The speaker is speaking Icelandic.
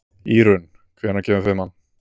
Írunn, hvenær kemur fimman?